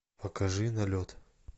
покажи налет